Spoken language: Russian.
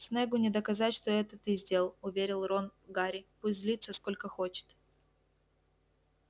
снеггу не доказать что это ты сделал уверил рон гарри пусть злится сколько хочет